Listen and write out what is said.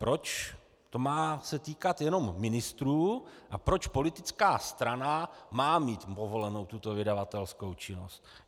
Proč se to má týkat jenom ministrů a proč politická strana má mít povolenou tuto vydavatelskou činnost?